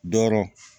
Dɔrɔ